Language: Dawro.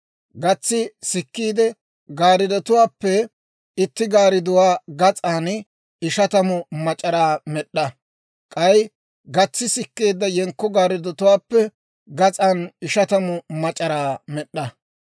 Gatsi sikkeedda gaarddatuwaappe itti gaardduwaa gas'an ishatamu mac'araa med'd'a; k'ay gatsi sikkeedda yenkko gaarddotuwaappe gas'an ishatamu mac'araa med'd'a.